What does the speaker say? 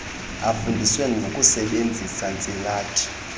afundiswe nangokusebenzisa ntsilathi